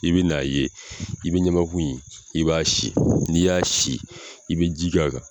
I bi n'a ye i bi ɲamaku in i b'a sin n'i y'a sin i bɛ ji k'a kan.